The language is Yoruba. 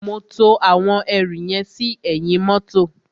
Mo to àwọn ẹrù yẹn sí ẹ̀yìn mọ́tọ̀.